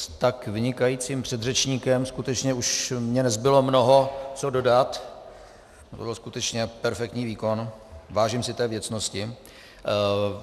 S tak vynikajícím předřečníkem skutečně už mně nezbylo mnoho co dodat, to byl skutečně perfektní výkon, vážím si té věcnosti.